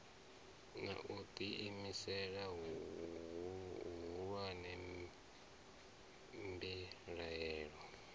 na u ḓiimisela huhulu mbilahelo